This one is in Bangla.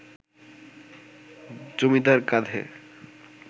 জমীদার কাঁধে